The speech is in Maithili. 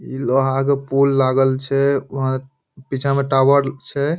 इ लोहा के पुल लागल छै वहां पीछा में टावर छै।